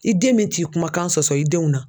I den bɛ t'i kumakan sɔsɔ i denw na.